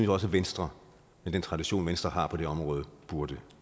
også at venstre med den tradition venstre har på det område burde